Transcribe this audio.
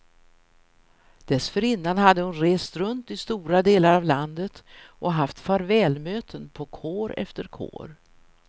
Dessförinnan hade hon rest runt i stora delar av landet och haft farvälmöten på kår efter kår.